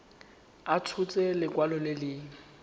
a tshotse lekwalo le le